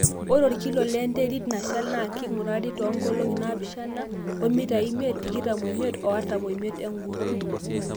ore orkilo le nterit nashal naa kingurari too nkolong'i naapishana too mitai imiet, tikitam oimit, artam oimiet egut .